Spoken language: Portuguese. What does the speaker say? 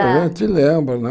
A gente lembra, né?